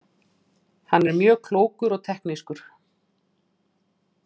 Hann er mjög klókur og teknískur.